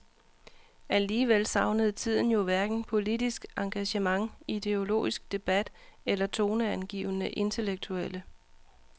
Alligevel savnede tiden jo hverken politisk engagement, ideologisk debat eller toneangivende intellektuelle.